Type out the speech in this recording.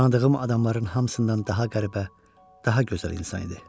Tanıdığım adamların hamısından daha qəribə, daha gözəl insan idi.